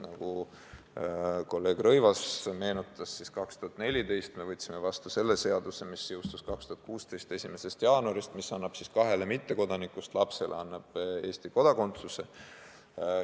Nagu kolleeg Rõivas meenutas, 2014. aastal me võtsime vastu seaduse, mis jõustus 2016. aasta 1. jaanuaril ja annab kahe mittekodaniku lapsele Eesti kodakondsuse.